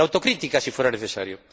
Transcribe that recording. la autocrítica, si fuera necesario.